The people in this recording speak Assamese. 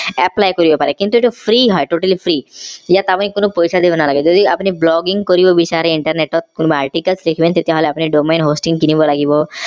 apply কৰিব পাৰে কিন্তু এইটো free হয় totally free ইয়াত আপুনি কোনো পইছা দিব নালাগে যদি আপুনি blogging কৰিব বিচাৰে internet ত কোনোবো article তেতিয়া হলে আপোনি domain hosting কিনিব লাগিব